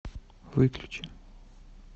выключи